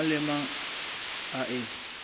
mang le mang a e